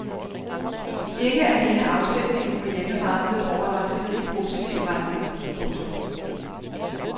Ikke alene afsætningen på hjemmemarkedet overraskede i positiv retning. punktum